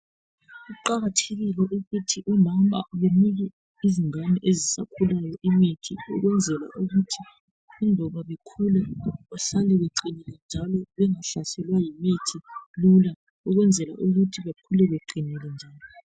Kuqakathekile ukuthi omama benike izingane ezisakhulayo imithi ukwenzela ukuthi iloba bekhula bahlale beqinile njalo bengahlaselwa yimithi lula ukwenzela ukuthi bekhule beqinile njalo.